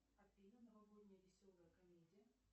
афина новогодняя веселая комедия